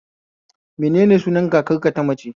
Menene sunan kakar ka ta mace?